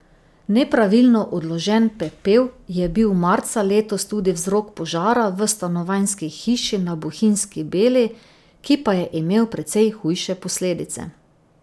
Nepravilno odložen pepel je bil marca letos tudi vzrok požara v stanovanjski hiši na Bohinjski Beli, ki pa je imel precej hujše posledice.